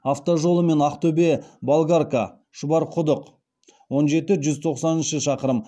автожолы мен ақтөбе болгарка шұбарқұдық он жетінші жүз тоқсан шақырым